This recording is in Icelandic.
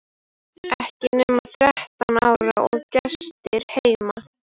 Ekki nema þrettán ára og gestir heima!